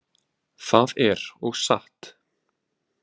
Það er og satt.